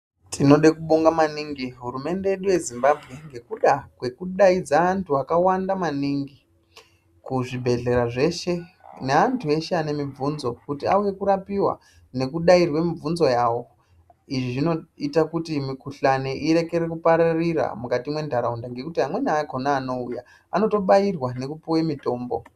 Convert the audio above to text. Tinode kubonga maningi hurumende yedu yeZimbabwe nekuda kwekudaidza vantu vakawanda maningi kuzvibhedhlera zveshe nevantu veshe vane mibvunzo kuti auye kurapiwa nekudairwa mibvunzo yavo izvizvinoite kuti mukhuhlani irekere kupararira mukati mwendaaraunda nekuti amweni akona anouya anotobayirwa nekupiwe mitombo.